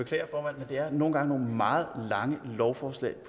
det er nogle gange nogle meget lange lovforslag